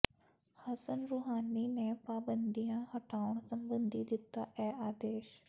Hasan Rouhani ਨੇ ਪਾਬੰਦੀਆਂ ਹਟਾਉਣ ਸਬੰਧੀ ਦਿੱਤਾ ਇਹ ਆਦੇਸ਼